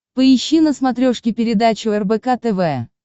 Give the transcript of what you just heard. поищи на смотрешке передачу рбк тв